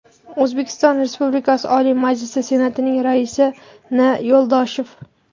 O‘zbekiston Respublikasi Oliy Majlisi Senatining Raisi N. Yo‘ldoshev.